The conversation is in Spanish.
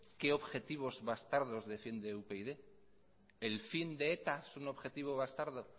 qué objetivos bastardos defiende upyd el fin de eta es un objetivo bastardo